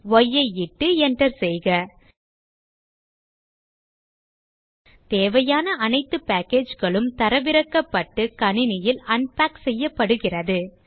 yஐ இட்டு enter செய்க தேவையான அனைத்து package களும் தரவிறக்கப்பட்டு கணினியில் அன்பேக் செய்யப்படுகிறது